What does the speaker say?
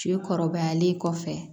Fiye kɔrɔbayalen kɔfɛ